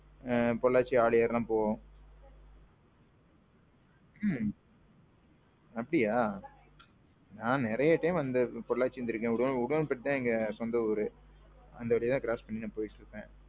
பொள்ளாச்சி ஆழியூர் எல்லாம் போவோம். அப்பிடியா? நான் நெறையா time பொள்ளாச்சி வந்திருக்கேன் உடுமல்பேட்டை தான் எங்க சொந்த ஊரு. அந்த ஏரியா தான் cross பண்ணி போயிட்டு இருப்பேன்.